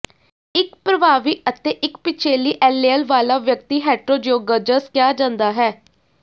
ਇੱਕ ਪ੍ਰਭਾਵੀ ਅਤੇ ਇੱਕ ਪਿਛੇਲੀ ਐਲੇਅਲ ਵਾਲਾ ਵਿਅਕਤੀ ਹੈਟਰੋਜ਼ਿਓਗਜ਼ਸ ਕਿਹਾ ਜਾਂਦਾ ਹੈ